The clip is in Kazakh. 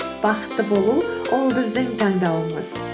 бақытты болу ол біздің таңдауымыз